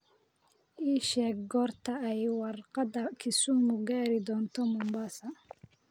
ii sheeg goorta ay warqada kisumu gaari doonto mombasa